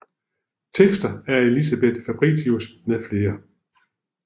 Tekster af Elisabeth Fabritius med flere